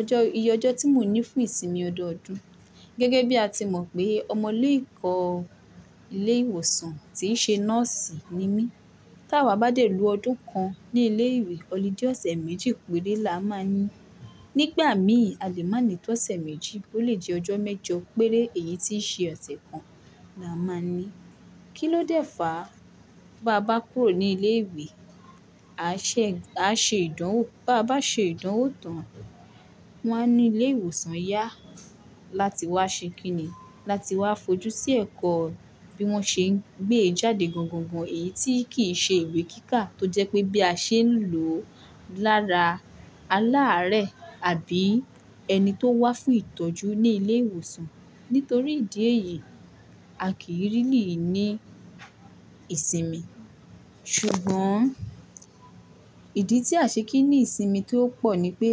Ọjọ́ ìyọjọ́ tí mò ń ní fún ìsinmi ọdọọdún, gẹ́gẹ́ bí a ti mọ̀ pé ọmọ ilé ẹ̀kọ́ ilé ìwòsàn tíí ṣe nọ́ọ̀sì ni mí, táwà bá dé lo ọdún kan ní ilé ìwé, ọludé ọ̀sẹ̀ méjì péré la máa ní. Nígbà mìí a lè má ní tọ̀sẹ̀ méjì bó le jẹ́ ọjọ́ mẹ́jọ péré èyí tíí ṣe ọ̀sẹ̀ kan la máa ní. Kí ló dẹ́fà bá a bá kúrò ní ilé ìwé, à ṣè, à ṣe ìdánwò, bá a bá ṣe ìdánwò tán, wọn á ní ilé ìwòsàn yá láti wá ṣe kí ni? Láti wá fojú sí ẹ̀kọ́ bí wón ṣe ń gbé e jáde gan gan gan èyí tíì kìí ṣe ìwé kíkà tó jẹ́ pé bí a ṣe ń lò ó lára aláàárẹ̀ àbí ẹni tó wá fún ìtọ́jú ní ilé ìwòsàn. Nítorí ìdí èyí, a kìí really ní ìsinmi. Ṣùgbọ́n ìdí tí à ṣe kìí ní ìsinmi tó pọ̀ ni pé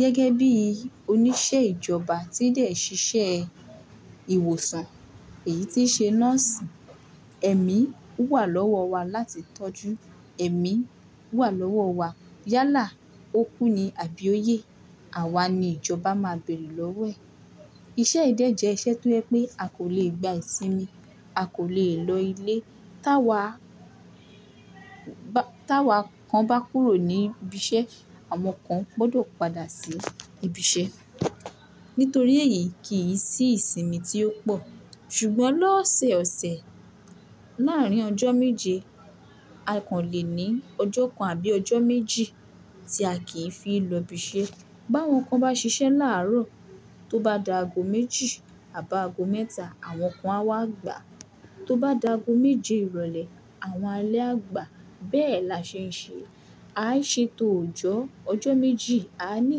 gẹ́gẹ́ bí oníṣẹ́ ìjọba tí dẹ̀ ṣiṣẹ́ ìwòsàn, èyí tí ṣe nọ́ọ̀sì, ẹ̀mí wà lọ́wọ́ wa láti tọ́jú, ẹ̀mí wà lọ́wọ́ wa yálà ó kú ni àbí ó yè, àwa ni ìjọba máa bẹ̀rù lọ́wẹ̀. Iṣẹ́ yi dé jẹ iṣẹ́ tó jẹ́ pé a kò lè gba ìsinmi, a kò lè lọ ilé. Táwa bá, táwa kan bá kúrò ní ibi iṣẹ́, àwọn kan gbọdọ̀ padà sí ibi iṣẹ́. Nítorí èyí kìí sí ìsinmi tí ó pọ̀. Ṣùgbọ́n lọ́sẹ̀ ọ̀sẹ̀ láàárín ọjọ́ méje, a kàn lè ní ọjọ́ kan àbí ọjọ́ méjì tí a kì í fi lọ ibi iṣẹ́. Bá wọn kan bá ṣiṣẹ́ láàárọ̀, tó bá dà agọ́ méjì àbá agọ́ mẹ́ta, àwọn kan á wá gbà. Tó bá dà agọ́ méje ìrọ̀lẹ́ àwọn alẹ́ á gbà. Bẹ́ẹ̀ la ṣe ń ṣe. A á ṣe tò ọjọ́, ọjọ́ méjì, a ní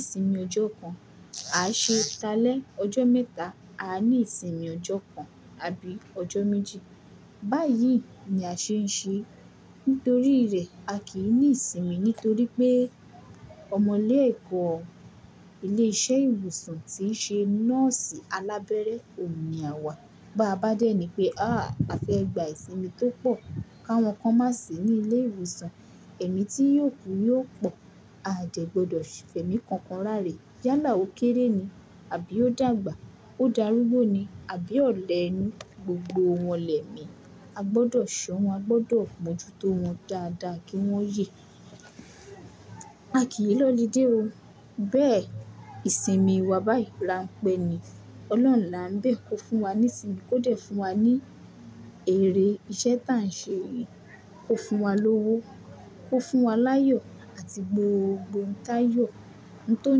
ìsinmi ọjọ́ kan. A á ṣe ta lẹ ọjọ́ mẹ́ta, a ní ìsinmi ọjọ́ kan àbí ọjọ́ méjì. Báyìí ni a ṣe ń ṣe. Nítorí rẹ̀ a kì í ní ìsinmi nítorí pé ọmọ ilé ẹ̀kọ́ ilé iṣẹ́ ìwòsàn tíí ṣe nọ́ọ̀sì alábẹ́rẹ́ òun ni àwa. Bá a bá dẹ́ ni pé, àá a fẹ́ gba ìsinmi tó pọ̀ káwọn kan má sì ní ilé ìwòsàn, ẹ̀mí tí yó kù yóò pọ̀. A dẹ̀ gbọdọ̀ fẹ̀mí kankan rárẹ̀. Yálà ó kéré ni àbí ó dàgbà, ó dàrúgbó ni àbí ọlẹ inú, gbogbo wọn lẹ́mi. A gbọdọ̀ ṣọ́ wọn, a gbọdọ̀ mọ́ jú tó wọn dáadáa kí wọ́n yè. A kì í lọludé o. Bẹ́ẹ̀ ìsinmi wa báyìí rańpẹ́ ni. Ọlọ́run là ń bẹ̀ kò fún wa ní ìsinmi, kò dẹ̀ fún wa ní èrè iṣẹ́ táà ń ṣe yìí. Kò fún wa lówó, kò fún wa láyọ̀ àti gbogbo ntáyọ̀, ohun tó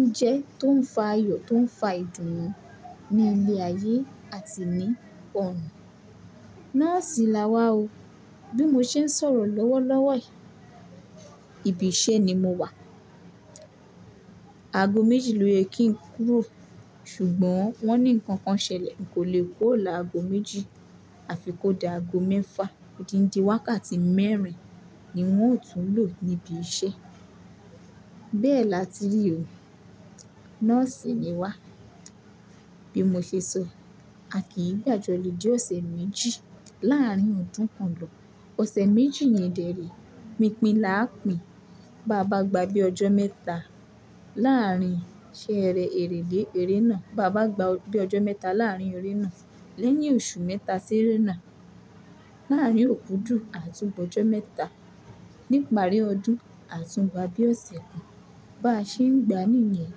ń jẹ́, tó ń fa yọ̀, tó ń fa ìdùnnú ní ilẹ̀ ayé àti ní ọ̀nà. Nọ́ọ̀sì la wà o. Bí mo ṣe ń sọ̀rọ̀ lọ́wọ́ lọ́wọ́ yìí, ibi iṣẹ́ ni mo wà. Agọ́ méjì ló yẹ kí n kúrò, ṣùgbọ́n wọ́n ní nǹkan kan ṣẹlẹ̀, n kò lè kuro làagọ́ méjì àfi kó dà agọ́ mẹ́fà. Ódíndi wákàtí mẹ́rin ni un ó tún lò níbi iṣẹ́. Bẹ́ẹ̀ la tí rí o. Nọ́ọ̀sì ni wà. Bí mo ṣe sọ, a kì í gba jọlude ọ̀sẹ̀ méjì láàárín ọdún kan lọ́. Ọ̀sẹ̀ méjì yẹn dèérè, pinpín là á pín. Bá a bá gba bí ọjọ́ mẹ́ta láàárín ṣeẹrẹ́ èrèlé èrenáà, bá a bá gba bí ọjọ́ mẹ́ta láàárín erẹ́náà, lẹ́yìn oṣù mẹ́ta ṣéérè náà, láàárín òkudù, àtún gbọjọ́ mẹ́ta. Ní ìparí ọdún, àtún gba bí ọ̀sẹ̀ kan. Bá ṣe ń gba nìyẹn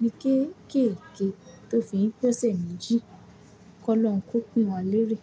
ní kéékèèké tó fi ń p'ọ̀sẹ̀ méjì, kọ́ lọ́run kó pín wa lérè.